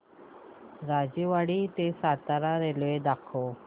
राजेवाडी ते सातारा रेल्वे दाखव